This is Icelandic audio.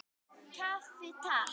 Kaffi, Takk!